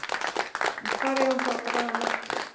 En hvar eigum þá að draga mörkin?